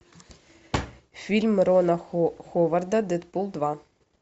фильм рона ховарда дэдпул два